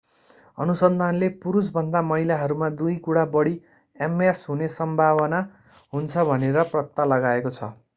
अनुसन्धानले पुरुषभन्दा महिलाहरूमा दुई गुणा बढी ms हुने सम्भावना हुन्छ भनेर पत्ता लगाएको छ